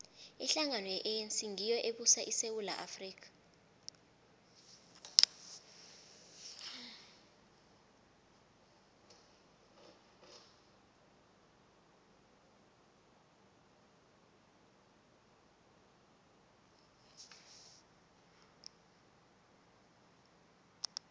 ihlangano ye anc ngiyo ebusa isewula afrika